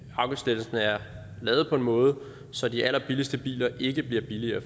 afgiftslettelsen er lavet på en måde så de allerbilligste biler ikke bliver billigere